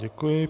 Děkuji.